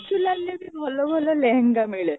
ବକ୍ସିଲାଲ ରେ ବି ଭଲ ଭଲ ଲେହେଙ୍ଗା ମିଳେ